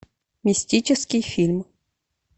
мистический фильм